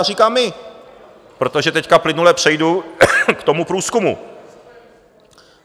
A říkám my, protože teď plynule přejdu k tomu průzkumu.